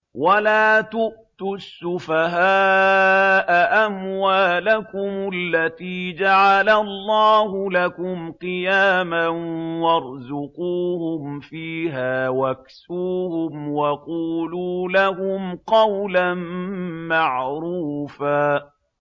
وَلَا تُؤْتُوا السُّفَهَاءَ أَمْوَالَكُمُ الَّتِي جَعَلَ اللَّهُ لَكُمْ قِيَامًا وَارْزُقُوهُمْ فِيهَا وَاكْسُوهُمْ وَقُولُوا لَهُمْ قَوْلًا مَّعْرُوفًا